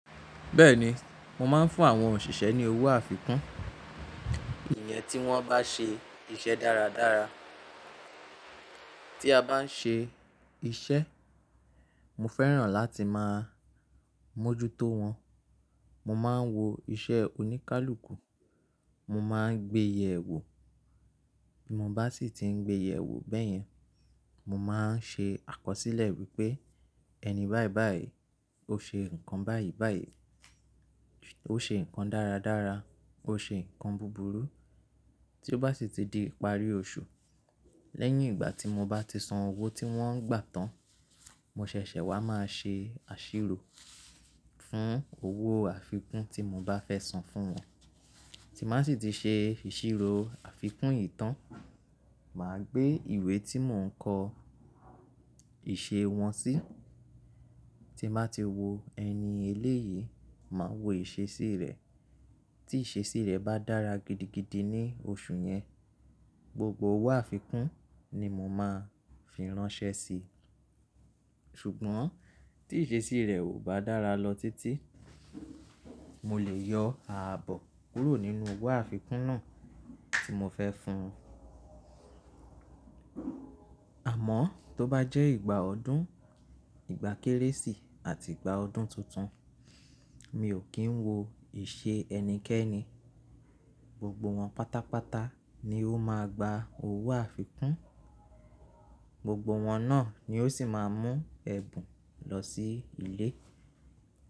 Bẹ́ẹ̀ni, mo máa ń fún àwọn òṣìṣẹ́ ní owó àfikún, ìyẹn tí wọ́n bá ṣe iṣẹ́ dáradára. Tí a bá ń ṣe iṣẹ́, mo fẹ́ràn láti máa mójútó wọn. Mo máa ń wo iṣẹ́ oníkálukú, mo máa ń gbé yèwò. Bí mo bá sì ti ń gbé iye èwò bẹ́yẹn, mo máa ń ṣe àkọsílẹ̀ wípé ẹni báyìí báyìí ó ṣe nǹkan báyìí báyìí, ó ṣe nǹkan dáradára, ó ṣe ǹnkan búburú. Tí ó bá sì ti di ìparí oṣù, lẹ́yìn ìgbà tí mo bá ti san owó tí wọ́n ń gbà tán, mo ṣẹ̀ṣẹ̀ wá máa ṣe àṣírò fún owó àfikún tí mo bá fẹ́ san fún wọn. Tí màá sì ti ṣe ìṣírò àfikún tán, màá gbé ìwé tí mò ń kọ iṣẹ́ wọn sí. Tí màá ti wo ẹni eléyìí, màá wo ìṣesí rẹ̀. Tí ìṣesí rẹ̀ bá dára gidigidi ní oṣù yẹn, gbogbo owó àfikún ni mo máa fi ránṣẹ́ si. Ṣùgbọ́n tí ìṣesí rẹ̀ ò bá dára lọ títí, mo lè yọ ààbò kúrò nínú owó àfikún náà tí mo fẹ́ fún un. Àmọ́ tó bá jẹ́ ìgbà ọdún, ìgbà Kérésì àti ìgbà ọdún tuntun, mi ò kí ń wo ìṣe ẹnikẹ́ni. Gbogbo wọn pátápátá ni ó máa gba owó àfikún, gbogbo wọn náà ni ó sì máa mú ẹ̀bùn lọ sí ilé.